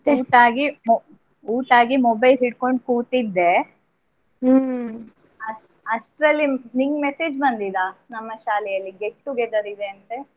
ಊಟ ಆಗಿ ಮೊ~ ಊಟ ಆಗಿ mobile ಹಿಡ್ಕೊಂಡ್ ಕೂತಿದ್ದೆ . ಅಷ್ಟ್~ ಅಷ್ಟ್ರಲ್ಲಿ ನಿಂಗ್ message ಬಂದಿದಾ, ನಮ್ಮ ಶಾಲೆಯಲ್ಲಿ get together ಇದೆ ಅಂತೆ.